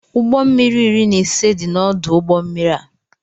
Ụgbọ mmiri iri na ise dị n' ọdụ ụgbọ mmiri a.